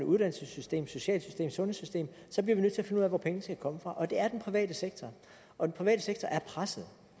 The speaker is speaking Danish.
uddannelsessystem socialsystem sundhedssystem så bliver vi nødt til at finde ud af hvor pengene skal komme fra og det er fra den private sektor og den private sektor er presset